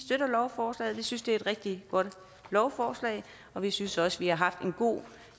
lovforslaget vi synes det er et rigtig godt lovforslag og vi synes også vi har haft en god